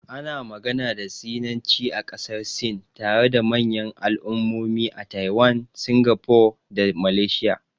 Ana magana da Sinanci a ƙasar Sin, tare da manyan al'ummomi a Taiwan, Singapore da Malaysia.